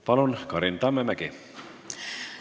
Palun, Karin Tammemägi!